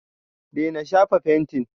daina shafa fentin!